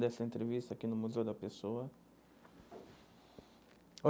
dessa entrevista aqui no Museu da Pessoa.